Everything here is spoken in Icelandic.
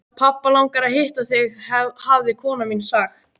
Pabba langar að hitta þig hafði kona mín sagt.